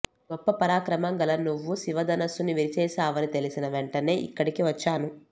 గొప్ప పరాక్రమం గల నువ్వు శివ ధనస్సుని విరిచేసావని తెలిసిన వెంటనే ఇక్కడికి వచ్చాను